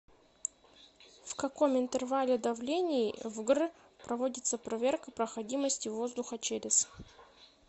в каком интервале давлений в гр проводится проверка проходимости воздуха через